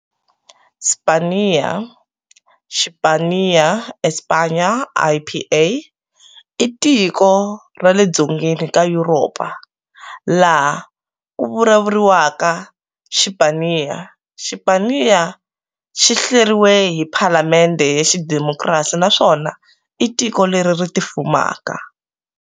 Spaniya, Xipaniya-España, IPA-i tiko ra le dzongeni ka yuropa, laha ku vulavuriwaka Xipaniya. Xipaniya xihleriwe hi Phalamende ya xi demokrasi naswona itiko leri tifumaka.